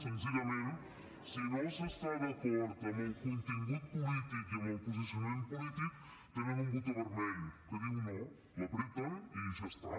senzillament si no s’està d’acord amb el contingut polític i amb el posicionament polític tenen un botó vermell que diu no el premen i ja està